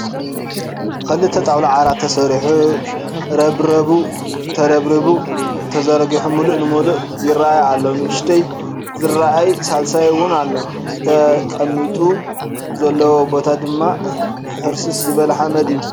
ክልተ ጣውላ ዓራት ተሰሪሑ ረብራቡ ተረብሪቡ ተዘርጊሑ ሙሉእ ንሙሉእ ይረኣይ አሎ ንኡሽተይ ዝረኣይ ሳልሳይ 'ውን ኣሎ ፡ተቐሚጡሉ ዘሎዎ ቦታ ድማ ሕርስርስ ዝበለ ሓመድ እዩ ።